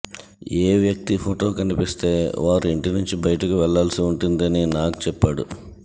ఏ వ్యక్తి ఫొటో కనిపిస్తే వారు ఇంటి నుంచి బయటకు వెళ్లాల్సి ఉంటుంది అని నాగ్ చెప్పాడు